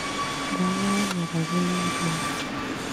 Ndawa ya nga´ragu nĩ ĩrio